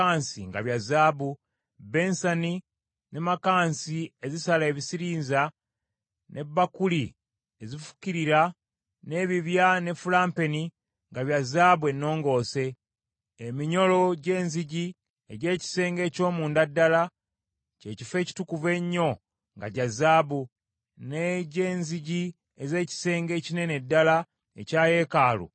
bbensani, ne makansi ezisala ebisirinza, ne bbakuli ezifukirira, n’ebibya ne fulampeni, nga bya zaabu ennongoose; eminyolo gy’enzigi egy’ekisenge eky’omunda ddala, kye Kifo Ekitukuvu Ennyo nga gya zaabu, n’egy’enzigi ez’ekisenge ekinene ddala ekya yeekaalu nga gya zaabu.